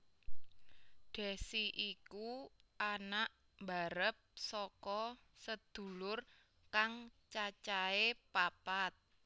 Desy iku anak mbarep saka sedulur kang cacahe papat